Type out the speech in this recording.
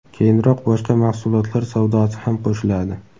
keyinroq boshqa mahsulotlar savdosi ham qo‘shiladi.